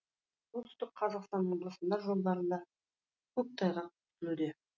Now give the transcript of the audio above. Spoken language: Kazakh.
солтүстік қазақстан облысында жолдарында көктайғақ күтілуде